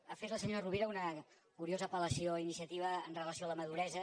ha fet la senyora rovira una curiosa apel·lació a iniciativa amb relació a la maduresa